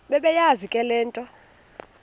bebeyazi le nto